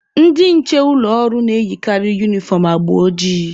Ndị nche ụlọ ọrụ na-eyikarị unifọm agba ojii.